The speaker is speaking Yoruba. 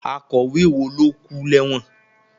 Akọ̀wé wo ló kú lẹ́wọ̀n?